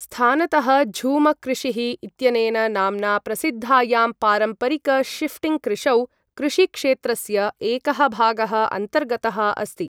स्थानतः झूम कृषिः इत्यनेन नाम्ना प्रसिद्धायां पारम्परिक शिफ्टिङ्ग् कृषौ, कृषिक्षेत्रस्य एकः भागः अन्तर्गतः अस्ति।